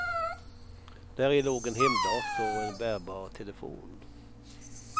Däri låg en hemdator och en bärbar telefon.